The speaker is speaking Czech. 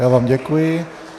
Já vám děkuji.